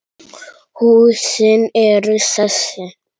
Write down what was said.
Húsin eru þessi